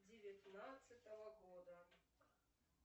девятнадцатого года